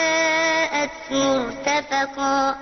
يُغَاثُوا بِمَاءٍ كَالْمُهْلِ يَشْوِي الْوُجُوهَ ۚ بِئْسَ الشَّرَابُ وَسَاءَتْ مُرْتَفَقًا